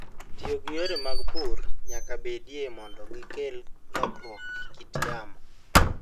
Tiyo gi yore mag pur nyaka bedie mondo gikel lokruok e kit yamo.